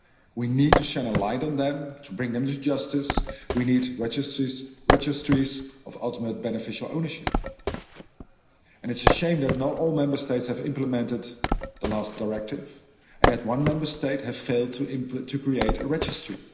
We need to shine a light on them and to bring them to justice. We need registries of ultimate beneficial ownership. It's a shame that not all Member States have implemented the last directive and that one Member State has failed to create a registry.